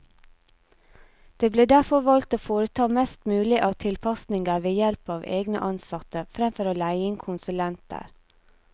Det ble derfor valgt å foreta mest mulig av tilpasninger ved help av egne ansatte, fremfor å leie inn konsulenter.